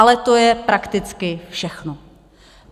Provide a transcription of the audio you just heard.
Ale to je prakticky všechno.